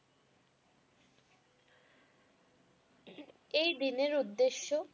এই দিনের উদ্দেশ্য?